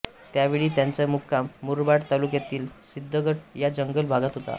त्यावेळी त्यांचा मुक्काम मुरबाड तालुक्यातील सिद्धगड या जंगल भागात होता